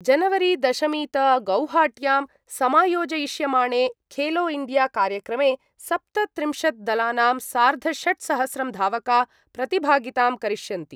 जनवरीदशमीत गौहाट्यां समायोजयिष्यमाणे खेलो इण्डिया कार्यक्रमे सप्तत्रिंशद् दलानां सार्धषट्सहस्रं धावका प्रतिभागितां करिष्यन्ति।